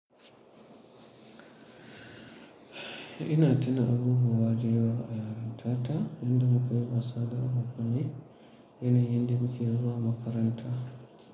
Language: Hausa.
Ina tuna abubuwa da yawa a yarintata, inda muke wasa da abokane, yanayin da muke zuwa makaranta.